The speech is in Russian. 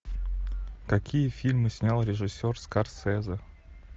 какие фильмы снял режиссер скорсезе